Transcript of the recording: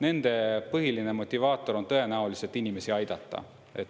Nende põhiline motivaator on tõenäoliselt inimesi aidata.